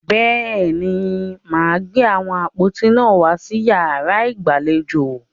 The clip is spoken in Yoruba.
Bẹ́ẹ̀ni, màá gbé àwọn àpótí náà wàá sí yàrá ìgbàlejò.